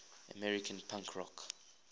american punk rock